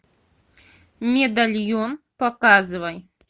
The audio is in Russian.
медальон показывай